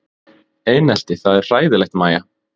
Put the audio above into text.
Einelti það er hræðilegt Mæja?